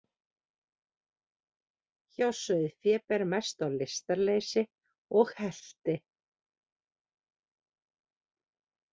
Hjá sauðfé ber mest á lystarleysi og helti.